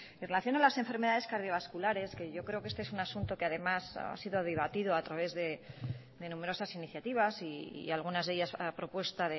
en relación a las enfermedades cardiovasculares que yo creo que este es asunto que además ha sido debatido a través de numerosas iniciativas y algunas de ellas a propuesta